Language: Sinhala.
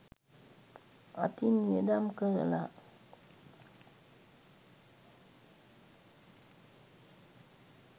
අතින් වියදම් කරලා